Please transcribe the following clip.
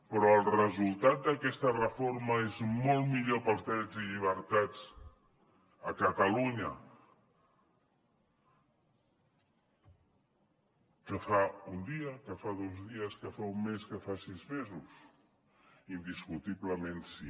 però el resultat d’aquesta reforma és molt millor per als drets i llibertats a catalunya que fa un dia que fa dos dies que fa un mes que fa sis mesos indiscutiblement sí